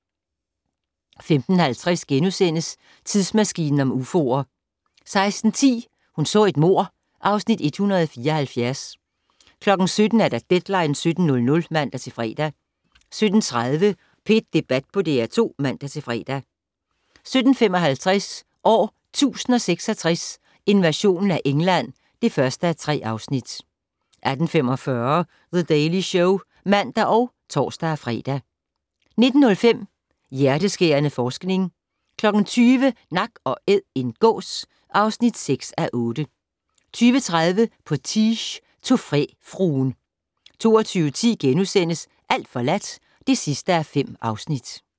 15:50: Tidsmaskinen om ufoer * 16:10: Hun så et mord (Afs. 174) 17:00: Deadline 17.00 (man-fre) 17:30: P1 Debat på DR2 (man-fre) 17:55: År 1066: Invasionen af England (1:3) 18:45: The Daily Show (man og tor-fre) 19:05: Hjerteskærende forskning 20:00: Nak & Æd - en gås (6:8) 20:30: Potiche - trofæfruen 22:10: Alt forladt (5:5)*